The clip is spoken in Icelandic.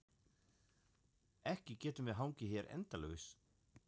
Ekki getum við hangið hér endalaust.